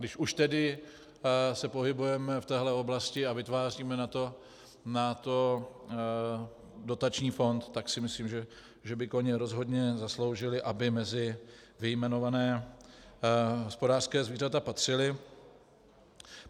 Když už tedy se pohybujeme v téhle oblasti a vytváříme na to dotační fond, tak si myslím, že by koně rozhodně zasloužili, aby mezi vyjmenovaná hospodářská zvířata patřili.